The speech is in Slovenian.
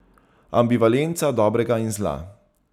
Ambivalenca dobrega in zla.